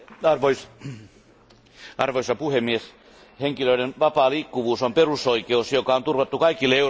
Arvoisa puhemies, henkilöiden vapaa liikkuvuus on perusoikeus, joka on turvattu kaikille Euroopan unionin kansalaisille.